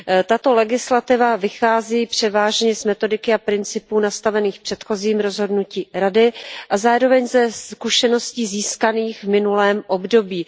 Tato legislativa vychází převážně z metodiky a principů nastavených předchozím rozhodnutím Rady a zároveň ze zkušeností získaných v minulém období.